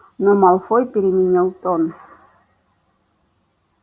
но малфой переменил тон